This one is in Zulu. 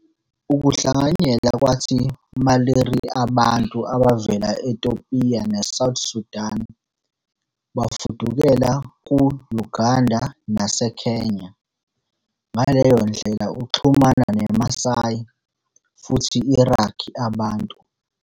I ukuhlanganyela kwathi Maliri abantu abavela eTopiya neSouth Sudan bafudukela ku-Uganda naseKenya, ngaleyo ndlela uxhumana ne Maasai futhi Iraqw abantu.